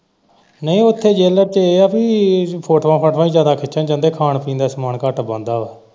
ਨਹੀਂ ਉੱਥੇ ਤੇ ਇਹ ਹੈ ਪੀ ਫੋਟੋਆਂ ਫਾਟੂਆਂ ਹੀ ਜਿਆਦਾ ਖਿੱਚਣ ਜਾਂਦੇ ਖਾਣ ਪੀਣ ਦਾ ਸਮਾਨ ਘੱਟ ਜਾਂਦਾ ਹੈ।